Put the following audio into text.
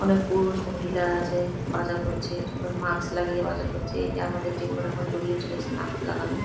অনেক পুরুষ মহিলা আছে বাজার করছে মুখে মাস্ক লাগিয়ে বাজার করছে এটি আমাদের জীবনে এখন জরুরি জিনিস মাস্ক লাগানো।